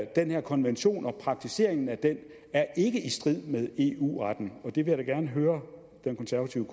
den her konvention og praktiseringen af den er i strid med eu retten og der vil jeg da gerne høre den konservative